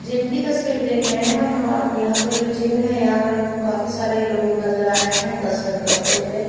Gym की तस्वीर देख रहे हैं हम और यहाँ पर जो जिम है यहाँ पर हमको काफी सारे लोग नज़र आ रहे हैं कसरत करते हुए।